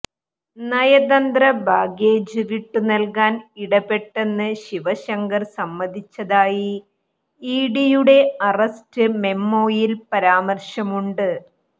നയതന്ത്രബാഗേജ് വിട്ടുനൽകാൻ ഇടപെട്ടെന്ന് ശിവശങ്കർ സമ്മതിച്ചതായി ഇഡിയുടെ അറസ്റ്റ് മെമോയിൽ പരാമർശമുണ്ട്